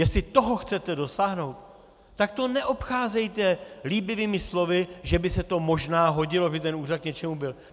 Jestli toho chcete dosáhnout, tak to neobcházejte líbivými slovy, že by se to možná hodilo, aby ten úřad k něčemu byl.